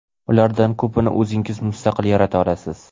Ulardan ko‘pini o‘zingiz mustaqil yarata olasiz.